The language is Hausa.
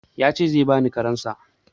Ya ce zai bani karensa.